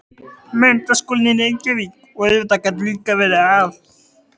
Menntaskólinn í Reykjavík, og auðvitað gat líka verið að